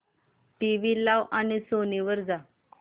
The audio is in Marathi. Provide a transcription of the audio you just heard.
टीव्ही लाव आणि सोनी वर जा